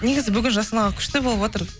негізі бүгін жасұлан аға күшті болып отыр